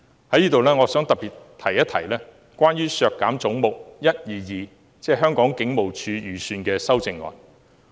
在此，我想特別一提有關削減"總目 122— 香港警務處"預算開支的修正案。